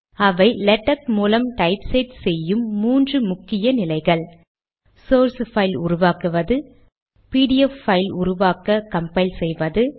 அவை லேடக் மூலம் typeset செய்யும் மூன்று முக்கிய நிலைகள் சோர்ஸ் பைல் உருவாக்குவது பிடிஎஃப் பைல் உருவாக்க கம்பைல் செய்வது